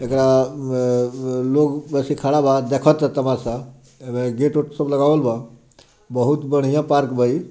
एकरा उम् लोग वैसा खड़ा बा देखा ता तमाशा गेट उट सब लगावल बा बहुत बढ़िया पार्क बा इ।